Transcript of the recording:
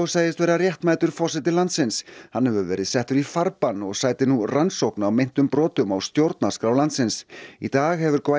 segist vera réttmætur forseti landsins hann hefur verið settur í farbann og sætir nú rannsókn á meintum brotum á stjórnarskrá landsins í dag hefur